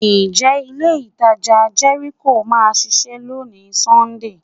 Ǹjẹ́ ilé-ìtajà Jericho máa ṣíṣẹ́ lónìí Sọ́ńdè?